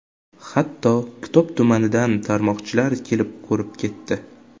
Hatto Kitob tumanidan tomorqachilar kelib, ko‘rib ketdi.